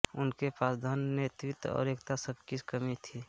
उनके पास धन नेतृत्व और एकता सबकी कमी थी